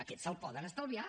aquest se’l poden estalviar